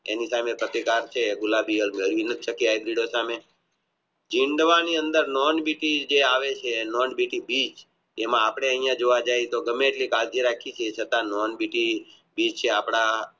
એની સામે ટકે દર છે એમાં અપને અહીંયા જોવા જાયી તો ગમે એટલી બાંધી રાખીયે તો એ છે અપને